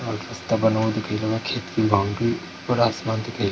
और रास्ता बना हुआ दिखाई दे बा खेत बाउंड्री पुरा आसमान दिखाई --